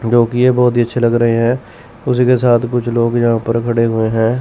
जोकि ये बहोत ही अच्छे लग रहे हैं उसी के साथ कुछ लोग यहां पर खड़े हुए हैं।